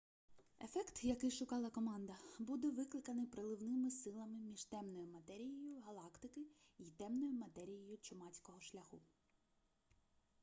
ефект який шукала команда буде викликаний приливними силами між темною матерією галактики й темною матерією чумацького шляху